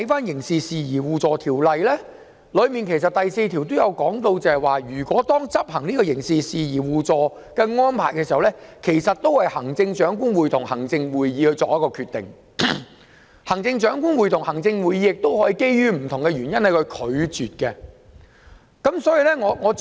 然而，《條例》第4條其實提到，執行刑事事宜相互法律協助安排時，須由行政長官會同行政會議批准，行政長官會同行政會議亦可基於不同原因拒絕批准。